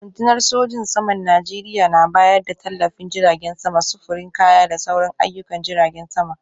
Rundunar sojin saman Najeriya na bayar da tallafin jiragen sama, sufurin kaya da sauran ayyukan jiragen sama.